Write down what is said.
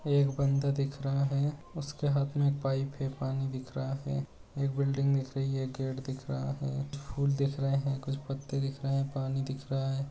एक बंदा दिख रहा है। उसके हाथ में एक पाईप है। पानी दिख रहा है। एक बिल्डिंग दिख रही है। गेट दिख रहा है। फूल दिख रहे हैं। कुछ पत्ते दिख रहा हैं। पानी दिख रहा है।